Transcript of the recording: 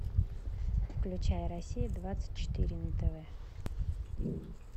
включай россия двадцать четыре на тв